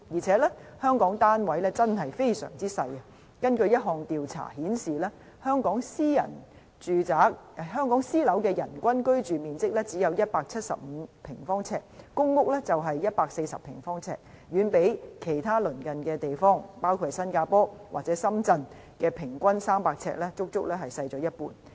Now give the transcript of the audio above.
此外，香港的單位真的非常細小；根據一項調查顯示，香港私樓的人均居住面積只有175平方呎，公屋是140平方呎，遠比其他鄰近地方300平方呎的平均數，足足少了一半。